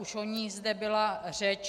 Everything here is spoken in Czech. Už o ní zde byla řeč.